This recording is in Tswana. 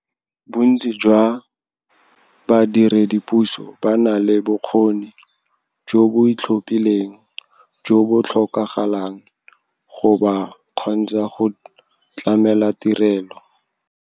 Bontsi jwa ba diredipuso ba na le bokgoni jo bo itlhophileng jo bo tlhokagalang go ba kgontsha go tlamela tirelo.